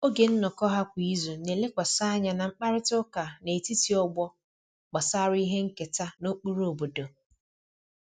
Oge nnọkọ ha kwa izu na-elekwasị anya na mkparịta ụka n'etiti ọgbọ gbasara ihe nketa na ụkpụrụ obodo